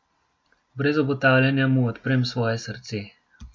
Brez obotavljanja mu odprem svoje srce.